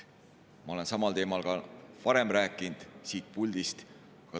Ma olen samal teemal ka varem siin puldis rääkinud.